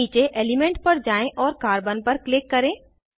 नीचे एलिमेंट पर जाएँ और कार्बन पर क्लिक करें